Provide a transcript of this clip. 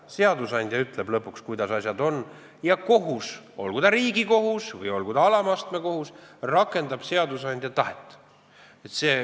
Seadusandja ütleb lõpuks, kuidas asjad on, ja kohus, olgu ta Riigikohus või olgu ta alama astme kohus, rakendab seadusandja tahet.